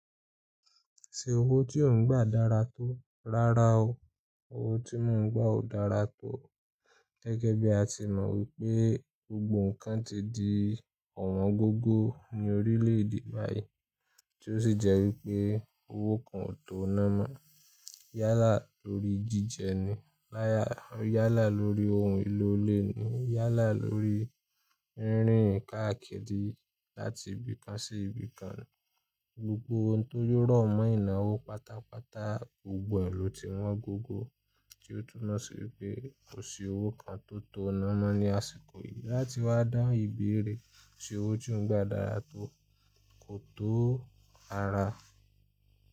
Ṣé owó tí ò ń gbà dára tó? Rárá o, owó tí mò ń gbà ò dára tó. Gẹ́gẹ́ bí a ti mọ wípé gbogbo ǹkan ti di ọ̀wọ́n gógó ní orílẹ̀ èdè báyìí, tí ó sì jẹ́ wípé owó kan ò tó ná mọ́. Yálà lórí jíjẹ ni, yálà lórí ohun èlò ilé ni, yálà lórí rìnrìn káàkiri láti ibì kan sí ibì kan. Gbogbo ohun tó rọ mọ́ ìnáwó pátápátá, gbogbo ẹ̀ lò ti wọ́n gógó, tí ó túnmọ̀ sí pé kò sí owó kan tó tó ná mọ́ ní àsìkò yìí. Láti wá dáhùn ìbéèrè "ṣé owó tí ò ń gbà dára tó?" kò tó rara.